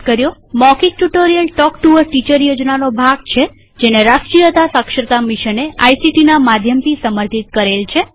મૌખિક tutorial talk to a teacher યોજનાનો ભાગ છેજેને રાષ્ટ્રીય સાક્ષરતા મિશને આઇસીટી ના માધ્યમથી સમર્થિત કરેલ છે